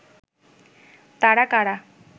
তারা কারা